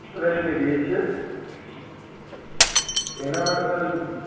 friendly રહીએ છે તો એના માટે મારે